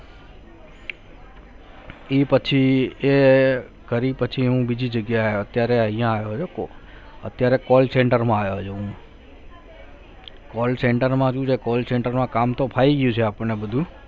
એ પછી એ કરી પછી હું બીજી જગ્યાએ અત્યારે અહીંયા આવ્યો છું અત્યારે call center માં આવ્યો છું હું call center માં શું છે call center માં કામ તો ફાવી ગયું છે આપણને બધું